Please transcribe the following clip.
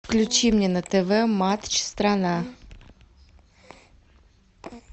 включи мне на тв матч страна